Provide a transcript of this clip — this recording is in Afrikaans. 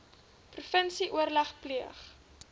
provinsie oorleg pleeg